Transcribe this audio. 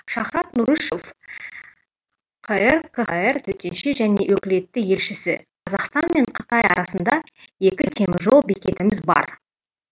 шахрат нұрышев қр қхр төтенше және өкілетті елшісі қазақстан мен қытай арасында екі теміржол бекетіміз бар